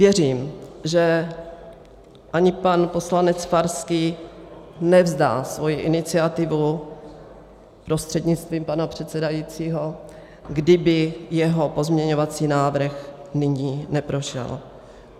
Věřím, že ani pan poslanec Farský nevzdá svoji iniciativu prostřednictvím pana předsedajícího, kdyby jeho pozměňovací návrh nyní neprošel.